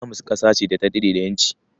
Jamus ƙasa ce da ta daɗe da ƴanci